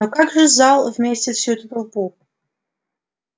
но как же зал вместит всю эту толпу